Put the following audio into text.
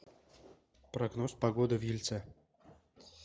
прогноз погоды в ельце